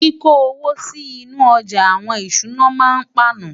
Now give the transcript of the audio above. kí kò owó sí inú ojà àwọn ìṣúná má ń pana